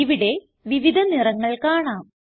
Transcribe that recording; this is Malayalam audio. ഇവിടെ വിവിധ നിറങ്ങൾ കാണാം